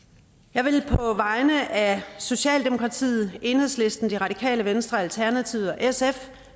jeg vil på vegne af socialdemokratiet enhedslisten det radikale venstre alternativet og sf